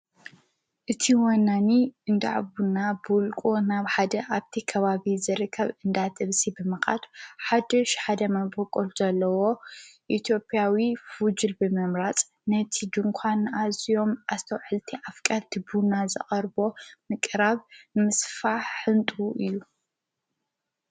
እቲ ወናኒ እንዳዕቡና ቡሉቁ ናብ ሓደ ኣብቲ ከባቢ ዝርከብ እንዳ ጥብሲ ብምቓት ሓድሽ ሓደ መንበቖት ዘለዎ ኢቴጵያዊ ፍጅል ብመምራጽ ነቲ ድንኳ ንኣዝዮም ኣስተውዕልቲ ኣፍቃት ድቡና ዘርቦ ምቕራብ ምስፋሕ ሕንጡ እዩ